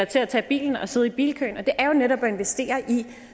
til at tage bilen og sidde i bilkøen og det er jo netop at investere i